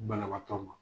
Banabaatɔ ma